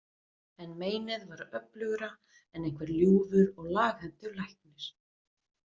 En meinið var öflugra en einhver ljúfur og laghentur læknir.